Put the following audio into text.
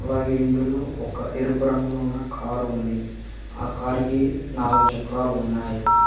అలాగే ఇందులో ఒక ఎరుపు రంగులో ఉన్న కారు ఉంది ఆ కారికి నాలుగు చక్రాలు ఉన్నాయి.